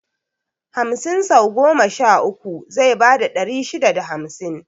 Hamsin sau goma sha uku zai bada ɗari shida da hamsin